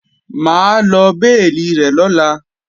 Mà á lọ béèlì rẹ̀ lọ́la